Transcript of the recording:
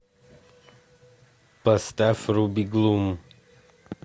поставь руби глум